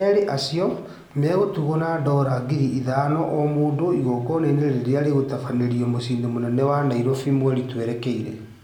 Erĩ acio megũtugwo na ndora ngiri ithano o mũndũ igongona-inĩ rĩrĩa rĩgũtabanĩrio mũciĩ-inĩ mũnene wa Nairobi mweri twerekeire